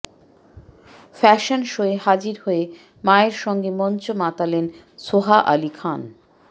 fashion শোয়ে হাজির হয়ে মায়ের সঙ্গে মঞ্চ মাতালেন সোহা আলি খান